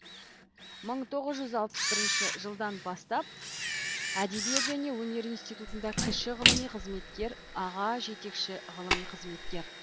мың тоғыз жүз алпыс бірінші жылдан бастап әдебиет және өнер институтында кіші ғылыми қызметкер аға жетекші ғылыми қызметкер